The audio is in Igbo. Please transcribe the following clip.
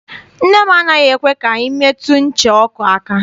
Nne m anaghị ekwe ka anyị metụ ncha ọkụ aka.